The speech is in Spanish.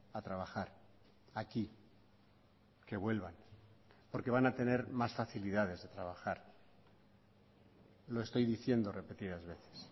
a trabajar aquí que vuelvan porque van a tener más facilidades de trabajar lo estoy diciendo repetidas veces